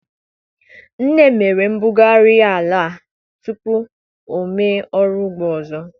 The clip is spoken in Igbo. Nne m mere mbugharị ala tupu o mee ọrụ ugbo ọzọ.